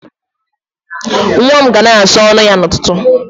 Nwa m ga na-asa ọnụ ya n'ụtụtụ.